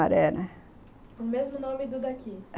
Sumaré, né... O mesmo nome do daqui?